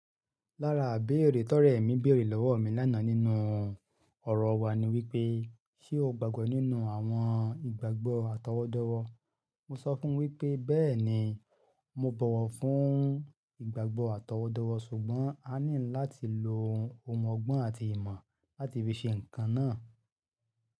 Lára beere tó rẹ̀ mí béèrè lọ́wọ́ mi lánàá nínú ọ̀rọ̀ wa ni wípé, ṣé o gbàgbọ́ nínú àwọn ìgbàgbọ́ àtọwọ́dọ́wọ́? Mo sọ fún wípé bẹ́ẹ̀ni mo bọ̀wọ̀ fún ìgbàgbọ́ àtọwọ́dọ́wọ́ ṣùgbọ́n a nílò láti lo ọmọ ọgbọ́n àti ìmọ̀ láti fi ṣe ǹkan náà.